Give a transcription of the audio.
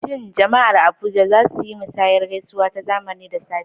Shin Jama'ar Abuja za su yi musanyar gaisuwa ta zamani da safe?